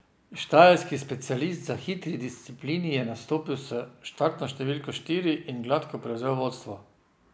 Štajerski specialist za hitri disciplini je nastopil s štartno številko štiri in gladko prevzel vodstvo.